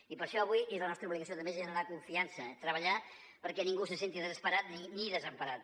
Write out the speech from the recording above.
i per això avui és la nostra obligació també generar confiança treballar perquè ningú se senti desesperat ni desemparat